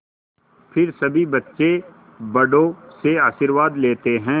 फिर सभी बच्चे बड़ों से आशीर्वाद लेते हैं